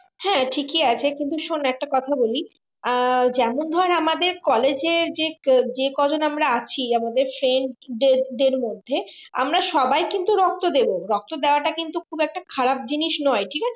হাঁ ঠিকই আছে কিন্তু শোন্ একটা কথা বলি আহ যেমন ধর আমাদের college যে কজন আমরা আছি আমাদের সে যাদের মধ্যে আমরা সবাই কিন্তু রক্ত দেব রক্ত দেওয়াটা কিন্তু খুব একটা খারাপ জিনিস নয় ঠিক আছে